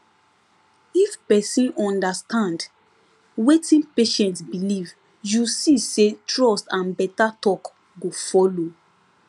if person understand wetin patient believe you see say trust and better talk go follow